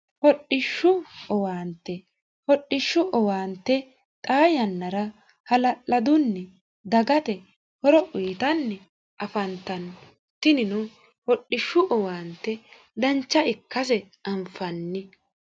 hodhishshu owaante hodhishshu owaante xaa yannara hala'ladunni dagate horo uyitanni afantanno tinino hodhishshu owaante dancha ikkase anfanni.